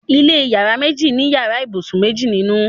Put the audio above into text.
ilé iyàrá méjì ní iyàrá ibusùn méjì ninu